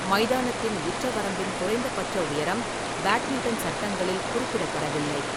மைதானத்தின் உச்சவரம்பின் குறைந்தபட்ச உயரம் பேட்மிண்டன் சட்டங்களில் குறிப்பிடப்படவில்லை.